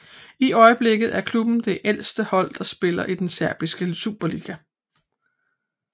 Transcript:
I øjeblikket er klubben det ældste hold der spiller i den serbiske superliga